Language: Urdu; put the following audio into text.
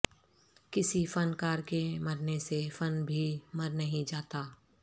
کسی فن کار کے مرنے سے فن بھی مر نہیں جاتا